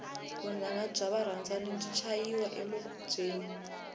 vunanga bya varandzani u chayiwa emikubyeni